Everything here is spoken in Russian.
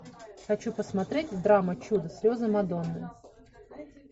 хочу посмотреть драма чудо слезы мадонны